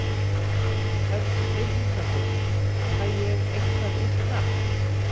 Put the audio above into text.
Hödd Vilhjálmsdóttir: Fæ ég eitthvað eitt nafn?